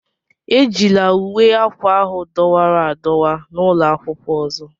Ejila uwe akwa ahụ dọwara adọwa n'ụlọ akwụkwọ ọzọ!